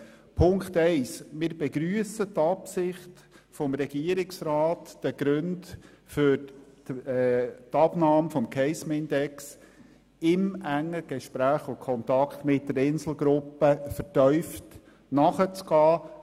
Bei Punkt 1 begrüssen wir die Absicht des Regierungsrats, den Gründen für die Abnahme des Case-Mix-Index im engen Kontakt mit der Insel Gruppe AG vertieft nachzugehen.